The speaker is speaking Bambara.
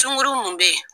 Sunkuru mun bɛ yen